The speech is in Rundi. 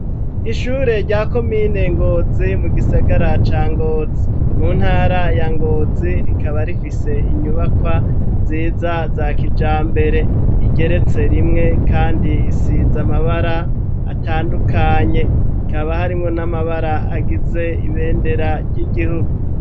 Ishure ryako mine ngozi mu gisagara ca ngozi mu ntara ya ngozi rikaba rifise inyubakwa nziza za kija mbere igeretse rimwe, kandi isiza amabara atandukanye kaba harimwo n'amabara agize ibendera ry'igihugu.